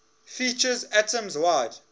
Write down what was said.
features atoms wide